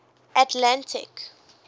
atlantic